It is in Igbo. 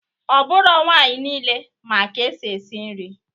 Ọ bụrọ nwaanyị nile ma ka esi eshi nri